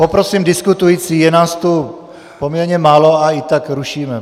Poprosím diskutující: Je nás tu poměrně málo a i tak rušíme!